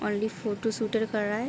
Only photo shooter कर रहा है।